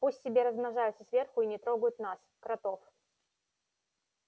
пусть себе размножаются сверху и не трогают нас кротов